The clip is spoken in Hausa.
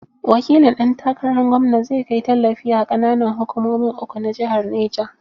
Wakilin ɗan takarar gwamna zai kai tallafi a ƙananan hukumomin uku na jihar Neja.